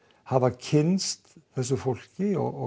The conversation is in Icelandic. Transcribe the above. hafa kynnst þessu fólki og